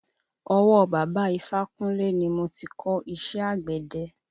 Ọwọ́ bàbá ifákúnle ni mo ti kò iṣẹ́ àgbẹ̀de.